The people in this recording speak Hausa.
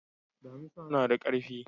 Damisa na da karfi.